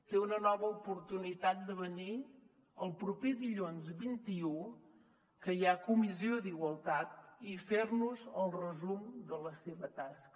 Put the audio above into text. té una nova oportunitat de venir el proper dilluns vint un que hi ha comissió d’igualtat i fer nos el resum de la seva tasca